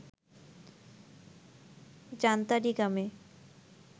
জান্তারী গ্রামে